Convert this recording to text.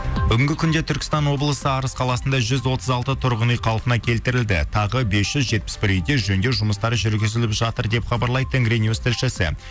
бүгінгі күнде түркістан облысы арыс қаласында жүз отыз алты тұрғын үй қалпына келтірілді тағы бес жүз жетпіс бір үйде жөндеу жұмыстары жүргізіліп жатыр деп хабарлайды тенгринюс тілшісі